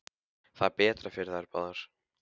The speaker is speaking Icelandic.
Það er betra fyrir þær báðar.